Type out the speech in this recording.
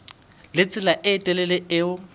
le tsela e telele eo